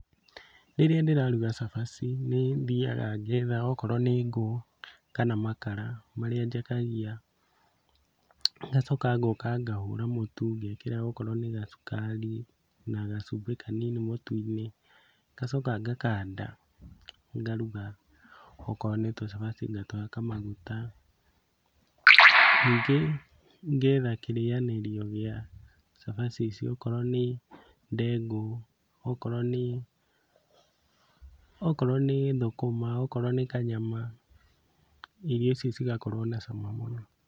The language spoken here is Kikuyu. Rĩrĩa ndĩraruga cabaci nĩthiaga ngetha okorwo nĩ ngũ kana makara marĩa njakagia, ngacoka ngoka ngahũra mũtu ngekĩra okorwo nĩ gacukari na gacumbĩ kanini mũtu-inĩ, ngacoka ngakanda ngaruga okoro nĩtũcabaci ngatũhaka maguta. Ningĩ ngetha kĩrĩanĩrio gĩa cabaci icio okorwo nĩ ndengũ, okorwo nĩ, okorwo nĩ thũkũma, okorwo nĩ kanyama, irio icio cigakorwo na cama mũno.